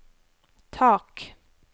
tak